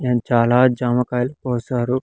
And చాలా జామకాయలు కోసారు.